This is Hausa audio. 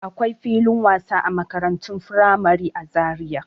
Akwai filin wasa a makarantun firamare a Zariya.